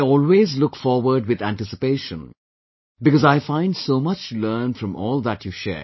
I always look forward with anticipation, because I find so much to learn from all that you share